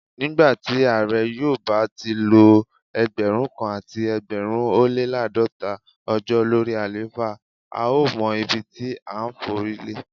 Nígbàtí Ààrẹ yóò bá tilo Ẹgbẹ̀rún kan àti ẹgbẹ̀rin ólé l'àádọ́ta ọjọ́ lórí àléfà, a ó mọ ibití à ńforílé.